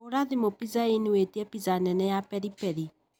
Hũra thimũ pizza inn witie na pizza nene ya peri peri.